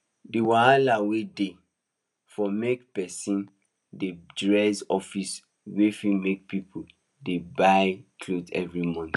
d wahala wey dey for make person dey dress office way fit make people dey buy clothes every month